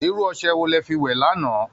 Irú ọṣẹ wo lẹ fi wẹ̀ lánàá?